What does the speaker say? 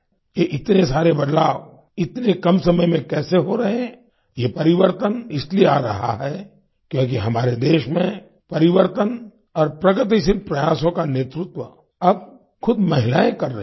ये इतने सारे बदलाव इतने कम समय में कैसे हो रहे हैं ये परिवर्तन इसलिए आ रहा है क्योंकि हमारे देश में परिवर्तन और प्रगतिशील प्रयासों का नेतृत्व अब खुद महिलायें कर रहीं हैं